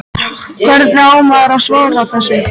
Hvernig á maður að svara þessu?